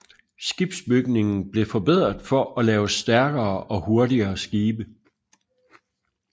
Skibsbygningen blev forbedret for at lave stærkere og hurtigere skibe